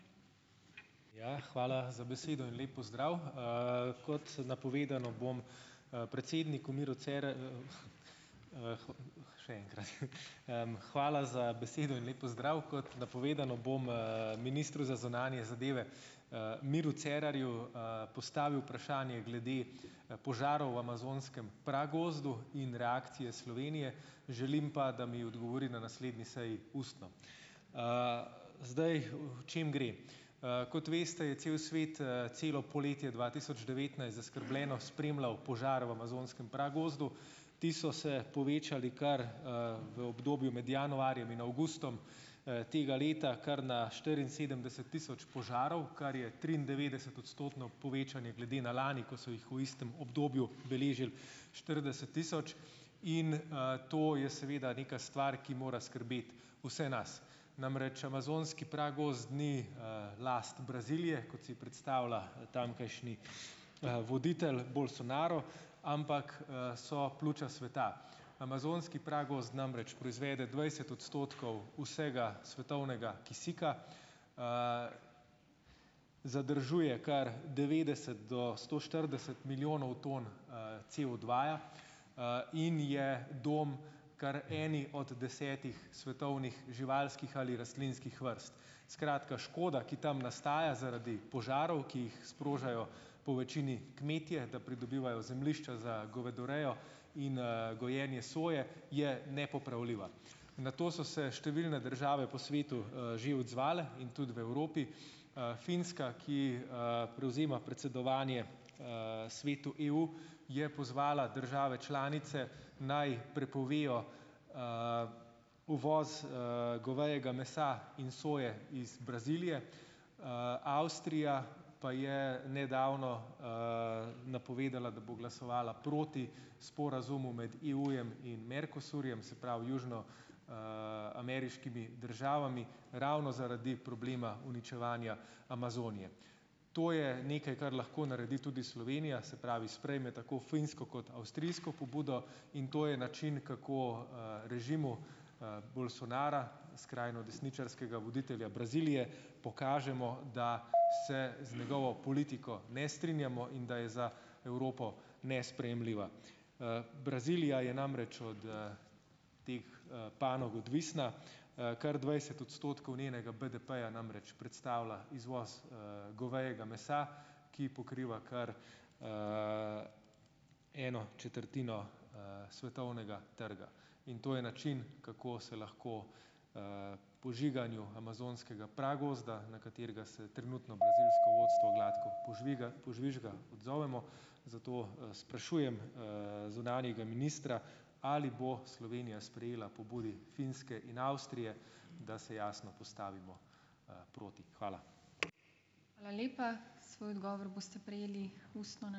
Ja, hvala za besedo in lep pozdrav! Kot napovedano, bom, predsedniku Miru še enkrat, hvala za besedo in lep pozdrav. Kot napovedano bom, ministru za zunanje zadeve, Miru Cerarju, postavil vprašanje glede, požarov v amazonskem pragozdu in reakcije Slovenije. Želim pa, da mi odgovori na naslednji seji ustno, Zdaj, o čem gre. Kot veste, je cel svet, celo poletje dva tisoč devetnajst zaskrbljeno spremljal požar v amazonskem pragozdu. Ti so se povečali kar, v obdobju med januarjem in avgustom, tega leta, kar na štiriinsedemdeset tisoč požarov, kar je triindevetdesetodstotno povečanje glede na lani, ko so jih v istem obdobju beležil štirideset tisoč, in, to je seveda neka stvar, ki mora skrbeti vse nas. Namreč amazonski pragozd ni, last Brazilije, kot si predstavlja, tamkajšnji, voditelj, Bolsonaro, ampak, so pljuča sveta. Amazonski pragozd namreč proizvede dvajset odstotkov vsega svetovnega kisika. Zadržuje kar devetdeset do sto štirideset milijonov ton, COdva-ja, in je dom kar eni od desetih svetovnih živalskih ali rastlinskih vrst. Skratka, škoda, ki tam nastaja zaradi požarov, ki jih sprožajo po večini kmetje, da pridobivajo zemljišča za govedorejo in, gojenje soje, je nepopravljiva. Na to so se številne države po svetu, že odzvale in tudi v Evropi. Finska, ki, prevzema predsedovanje, Svetu EU, je pozvala države članice naj prepovejo, uvoz, govejega mesa in soje iz Brazilije. Avstrija pa je nedavno, napovedala, da bo glasovala proti sporazumu med EU-jem in Mercosurjem, se pravi južno-, ameriškimi državami, ravno zaradi problema uničevanja Amazonije. To je nekaj, kar lahko naredi tudi Slovenija, se pravi sprejme tako finsko kot avstrijsko pobudo. In to je način, kako, režimu, Bolsonara, skrajnodesničarskega voditelja Brazilije, pokažemo, da se z njegovo politiko ne strinjamo in da je za Evropo nesprejemljiva. Brazilija je namreč od, teh, panog odvisna. Kar dvajset odstotkov njenega BDP-ja namreč predstavlja izvoz, govejega mesa, ki pokriva kar, eno četrtino, svetovnega trga. In to je način, kako se lahko, požiganju amazonskega pragozda, na katerega se trenutno brazilsko vodstvo gladko požvižga, odzovemo. Zato, sprašujem, zunanjega ministra, ali bo Slovenija sprejela pobudi Finske in Avstrije, da se jasno postavimo, proti. Hvala.